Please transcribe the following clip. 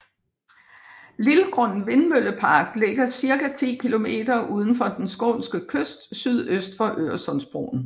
Lillgrund Vindmøllepark ligger cirka 10 km udenfor den skånske kyst sydøst for Øresundsbron